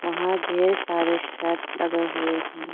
वहां धेर सारे शर्ट लगे हुए हैं।